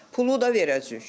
Pulu da verəcəyik.